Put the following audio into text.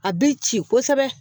A bɛ ci kosɛbɛ